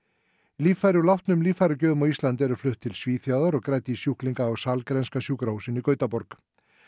líffæri úr látnum líffæragjöfum á Íslandi eru flutt til Svíþjóðar og grædd í sjúklinga á Sahlgrenska sjúkrahúsinu í Gautaborg